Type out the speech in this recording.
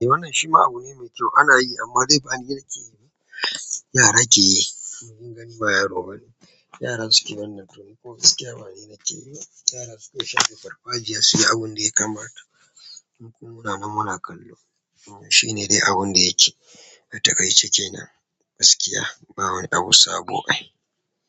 Eh wannan shi ma abu ne me kyau anayi amma dai bani nake yi ba. Yara ke yi, kunga ni ba yaro bane. Yara suke wannan tuni kuma gaskiya bani nake yiba. Yara suke sha a farfajiya su yi abun da ya kamata. Duk mu murnan muna kallo. Shi ne dai abun da yake a taƙaice kenan. Gaskiya, bawani abu sabo ai.